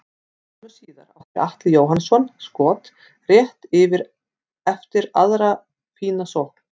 Skömmu síðar átti Atli Jóhannsson skot rétt yfir eftir aðra fína sókn.